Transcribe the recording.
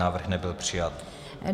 Návrh nebyl přijat.